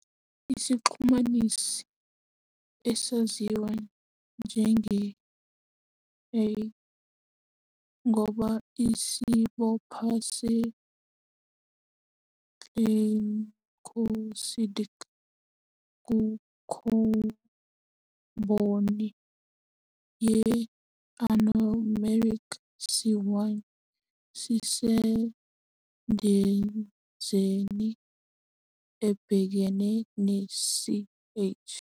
Isixhumanisi esaziwa njenge-a ngoba isibopho se-glycosidic kukhabhoni ye-anomeric, C1, sisendizeni ebhekene ne-CH.